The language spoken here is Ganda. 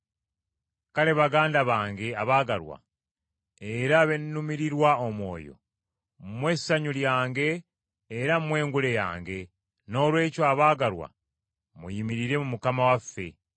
Kale, baganda bange abaagalwa, era be nnumirirwa omwoyo, mmwe ssanyu lyange era mmwe ngule yange; noolwekyo abaagalwa, muyimirire mu Mukama waffe.